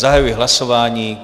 Zahajuji hlasování.